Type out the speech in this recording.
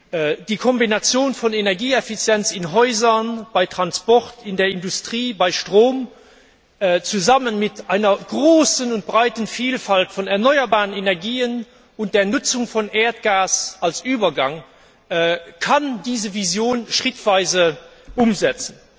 Durch die Kombination von Energieeffizienz in Häusern, beim Transport, in der Industrie und beim Strom zusammen mit einer großen und breiten Vielfalt von erneuerbaren Energien und der Nutzung von Erdgas als Übergang kann diese Vision schrittweise umgesetzt